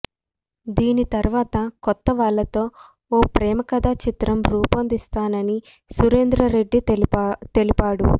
దీని తర్వాత కొత్త వాళ్లతో ఓ ప్రేమకథా చిత్రం రుపొందిస్తానని సురేందర్ రెడ్డి తెలిపాడు